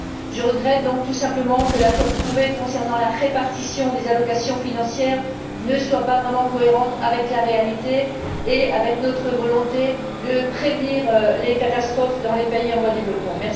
Je regrette donc, tout simplement, que l'accord trouvé concernant la répartition des dotations financières ne soit pas vraiment cohérent avec la réalité et avec notre volonté de prévenir les catastrophes dans les pays en voie de développement.